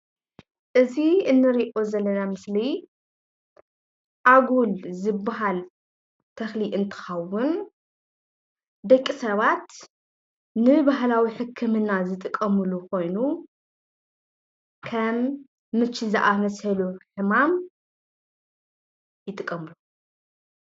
እዚ እንሪኦ ዘለና ምስሊ ኣጉል ዝበሃል ተክሊ እንትከዉን ደቂ ሰባት ንባህላዊ ሕክምና ዝጥቀምሉ ኮይኑ ከም ምቺ ዝኣመሰሉ ሕማም ይጥቀምሉ።